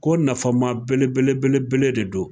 Ko nafama belebele- belebele de don.